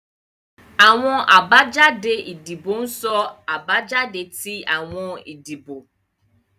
Awọn abajade idibo ń so abajade ti awọn idibo